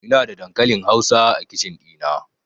Ina da dankalin hausa a kicin ɗina